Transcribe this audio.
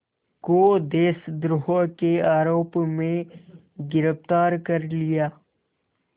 को देशद्रोह के आरोप में गिरफ़्तार कर लिया